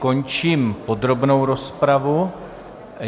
Končím podrobnou rozpravu.